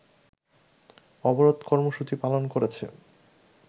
অবরোধ কর্মসুচি পালন করেছে